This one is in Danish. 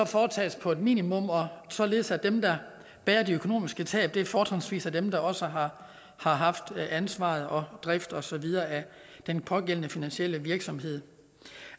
foretages på et minimum og således at dem der bærer de økonomiske tab fortrinsvis er dem der også har haft ansvaret og drift og så videre af den pågældende finansielle virksomhed